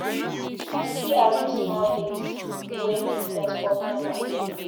You fit arrange small date wey make sense for me and my babe?